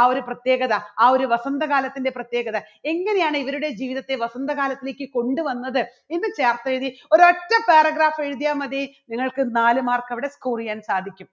ആ ഒരു പ്രത്യേകത ആ ഒരു വസന്തകാലത്തിന്റെ പ്രത്യേകത എങ്ങനെയാണ് ഇവരുടെ ജീവിതത്തിൽ വസന്തകാലത്തിലേക്ക് കൊണ്ടുവന്നത് എന്ന് ചേർത്തെഴുതി ഒരൊറ്റ paragraph എഴുതിയാൽ മതി നിങ്ങൾക്ക് നാല് mark അവിടെ score ചെയ്യാൻ സാധിക്കും